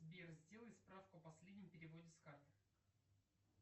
сбер сделай справку о последнем переводе с карты